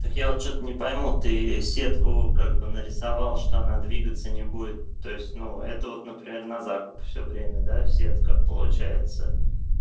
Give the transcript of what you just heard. так я вот что-то не пойму ты сетку как бы нарисовал что она двигаться не будет то есть ну это вот например на закуп все время да сетка получается